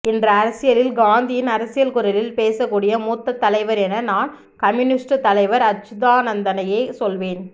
இன்று அரசியலில் காந்தியின் அரசியல்குரலில் பேசக்கூடிய மூத்த தலைவர் என நான் கம்யூனிஸ்டுத்தலைவர் அச்சுதானந்ததனையே சொல்வேன்